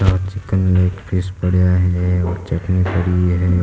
या chicken leg piece पड़ा है और चटनी पड़ी है।